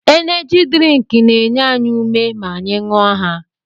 Eneji drink na-enye anyị ume ma anyị ṅụọ ha